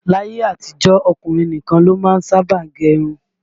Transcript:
Láyé àtijó, ọkùnrin nìkan ló má ń sábà gẹ irun